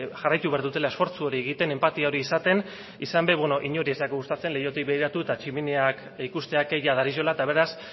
jarraitu egin behar dutela esfortzu hori egiten enpatia hori izaten izan be beno inori ez zaigu gustatzen leihotik begiratu eta tximiniak ikustea kea dariola eta beraz